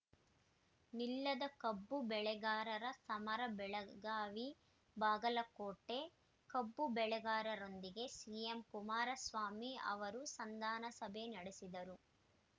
ನಿಲ್ಲದ ಕಬ್ಬು ಬೆಳೆಗಾರರ ಸಮರ ಬೆಳಗಾವಿ ಬಾಗಲಕೋಟೆ ಕಬ್ಬು ಬೆಳೆಗಾರರೊಂದಿಗೆ ಸಿಎಂ ಕುಮಾರಸ್ವಾಮಿ ಅವರು ಸಂಧಾನ ಸಭೆ ನಡೆಸಿದರೂ